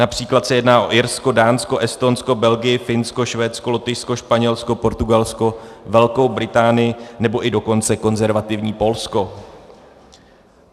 Například se jedná o Irsko, Dánsko, Estonsko, Belgii, Finsko, Švédsko, Lotyšsko, Španělsko, Portugalsko, Velkou Británii, nebo i dokonce konzervativní Polsko.